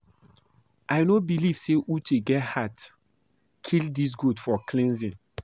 I no believe say Uche get heart kill dis goat for cleansing